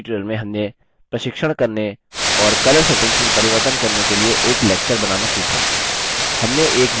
इस tutorial में हमने प्रशिक्षण करने और colour settings में परिवर्तन करने के लिए एक lecture बनाना सीखा